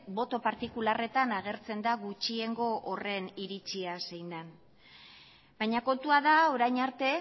boto partikularretan agertzen da gutxiengo horren iritzia zein den baina kontua da orain arte